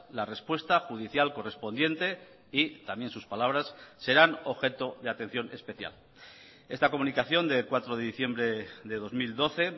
la respuesta judicial correspondiente y también sus palabras serán objeto de atención especial esta comunicación de cuatro de diciembre de dos mil doce